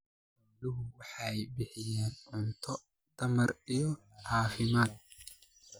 Xooluhu waxay bixiyaan cunto tamar iyo caafimaad.